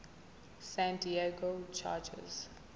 san diego chargers